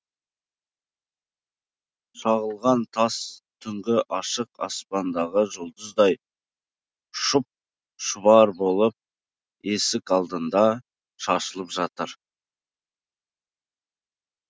шағылған тас түнгі ашық аспандағы жұлдыздай шұп шұбар болып есік алдында шашылып жатыр